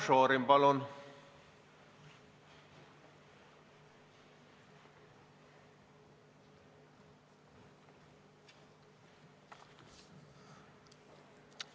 Marko Šorin, palun!